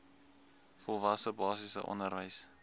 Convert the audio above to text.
volwasse basiese onderwys